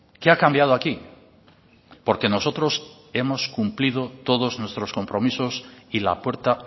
qué ha cambiado aquí porque nosotros hemos cumplido todos nuestros compromisos y la puerta